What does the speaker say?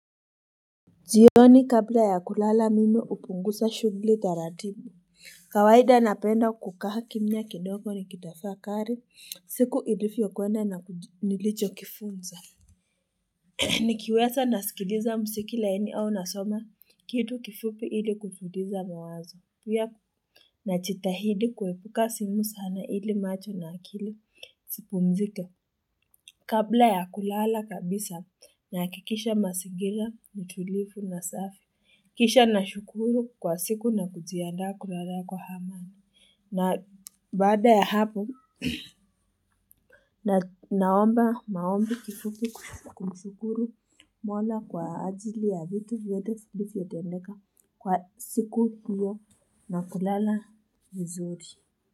Jiuoni kabla ya kulala mimi hupunguza shugli taratibu kawaida napenda kukaa kimya kidogo ni kitafakari siku ilifyokwenda na nilichokifunza nikiwesa naskiliza musiki laini au nasoma kitu kifupi ili kutulisa mawazo pia najitahidi kuepuka simu sana ili macho na akili sipumsike. Kabla ya kulala kabisa naakikisha masigila, ni tulifu na safi. Kisha na shukuru kwa siku na kujiandaa kuraraa kwa hamani. Na baada ya hapo na naomba maombi kifupi kumshukuru mwala kwa ajili ya vitu vyote filifyo tendeka kwa siku hiyo na kulala vizuri.